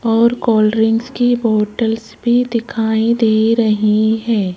और cold drinks की bottles भी दिखाई दे रही हैं।